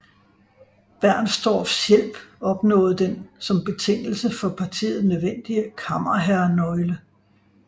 Bernstorffs hjælp opnået den som betingelse for partiet nødvendige kammerherrenøgle